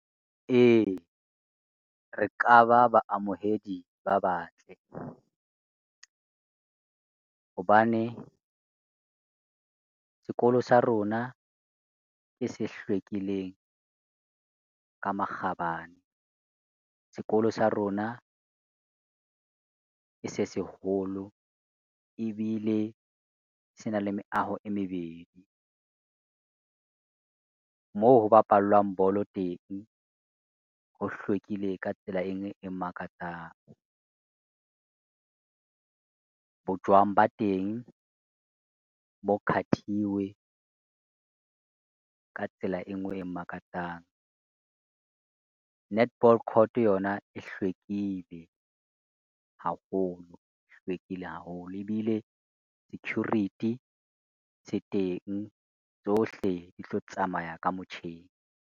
E, re ka ba baamohedi ba batle, hobane sekolo sa rona ke se hlwekileng ka makgabane, sekolo sa rona ke se seholo, ebile se na le meaho e mebedi. Moo ho bapalwang bolo teng ho hlwekile ka tsela e ngwe e makatsang, bojwang ba teng bo cut-iwe ka tsela e ngwe e makatsang. Netball court yona e hlwekile haholo, hlwekile haholo ebile security se teng tsohle di tlo tsamaya ka motjheng.